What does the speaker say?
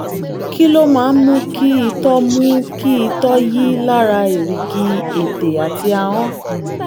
kí ló máa ń mú kí itọ́ mú kí itọ́ yi lára èrìgì ètè àti ahọ́n?